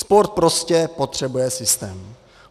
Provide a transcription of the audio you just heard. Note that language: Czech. Sport prostě potřebuje systém.